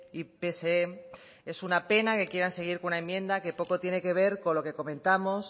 y pse es una pena que quieran seguir con una enmienda que poco tiene que ver con lo que comentamos se